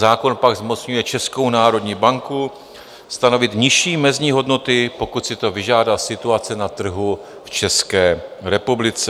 Zákon pak zmocňuje Českou národní banku stanovit nižší mezní hodnoty, pokud si to vyžádá situace na trhu v České republice.